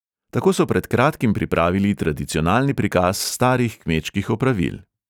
Tako so pred kratkim pripravili tradicionalni prikaz starih kmečkih opravil.